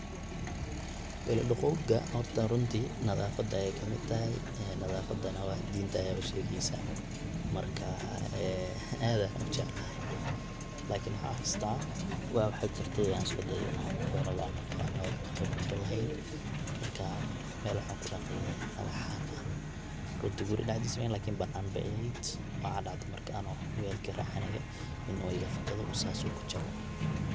welal dhaqowga horta runtii nadaafad ayay kamid tahay, nadaafada waa dinta ayaba sheegeysa, markaa ee aad ayan ujeclahay, laakiin waxaan xasustaa waa waxa jirtay an iskuday inan walal an dhaqo ano waxba qibrad ulahayn marka mel waxan kudhaqaye dhagxan ah runtii gerigaa dhaxdiis may eheen balse bananka aya eheed, waxa dhacde marka anigo wel karaacinayo inu welka iga fakado oo sas uu kujabo